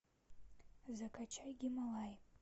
закачай гималаи